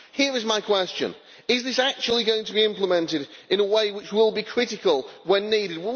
Here is my question is this actually going to be implemented in a way which will be critical when needed?